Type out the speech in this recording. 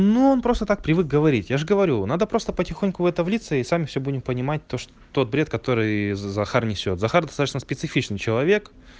ну он просто так привык говорить я же говорю надо просто потихоньку в это влиться и сами всё будем понимать то что тот бред который захар несёт захар достаточно специфичный человек